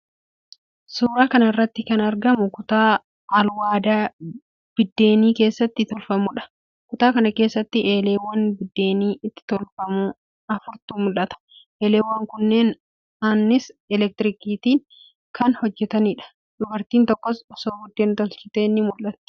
Suuraa kana irratti kan argamu kutaa alwaadaa biddeenni keessatti tolfamuudha. Kutaa kana keessa eeleewwan biddeenni itti tolfamu afurtu mul'ata. Eeleewwan kunneen annisaa elektirikiitiin kan hojjetaniidha. Dubartiin tokkos osoo biddeen tolchitee ni mul'atti.